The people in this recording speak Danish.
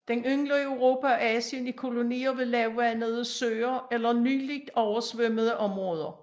Den yngler i Europa og Asien i kolonier ved lavvandede søer eller nyligt oversvømmede områder